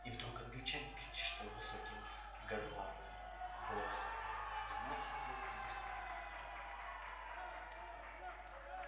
и вдруг англичанин кричит что-то высоким гортанным голосом взмахивает быстро рукой и звук пощёчины сухо разрывает общий гомон